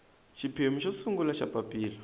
xiphemu xo sungula xa papilla